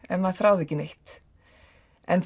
ef maður þráir ekki neitt en